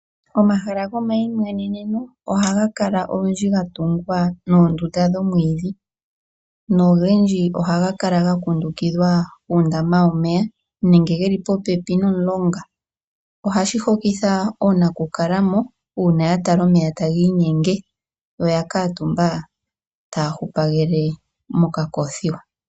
Omahala gomayimweneneno oha gakala olundji gatungwa nondunda dhomwidhi, nogendji oha gakala ngakundukithwa uundama womeya nenge geli popepi nomulonga, ohashi hokitha onakukalamo una yatala omeya tanginyenge yo oyakatumba taya hupagele mokakofiwa.